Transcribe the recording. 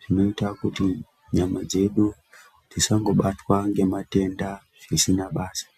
zvinoita kuti nyama dzedu dzisangobatwa ngematenda asina basa.